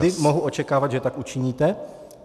Kdy mohu očekávat, že tak učiníte?